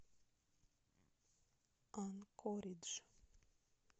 анкоридж